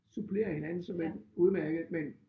Supplerer hinanden såmænd udmærket men